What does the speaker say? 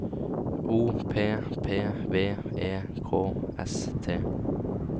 O P P V E K S T